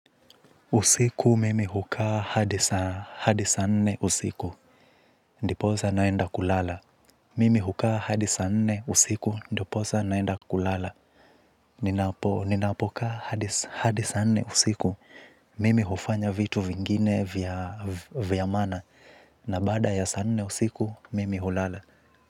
Usiku mimi hukaa hadi saa nne usiku. Ndipo sasa naenda kulala. Mimi hukaa hadi saa nne usiku. Ndiposa naenda kulala. Ninapoka hadi saa nne usiku. Mimi hufanya vitu vingine vya maana. Na baada ya saa nne usiku, mimi hulala.